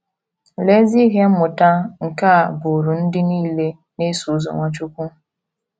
Lee ezi ihe mmụta nke a bụụrụ ndị nile na - eso ụzọ Nwachukwu!